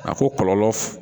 A ko kɔlɔlɔ f